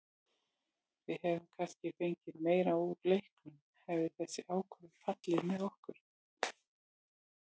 Við hefðum kannski fengið meira úr leiknum hefði þessi ákvörðun fallið með okkur.